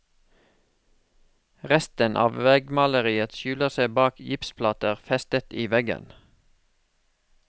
Resten av veggmaleriet skjuler seg bak gipsplater festet i veggen.